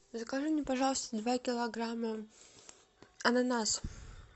закажи мне пожалуйста два килограмма ананасов